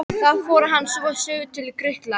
Þaðan fór hann svo suður til Grikklands.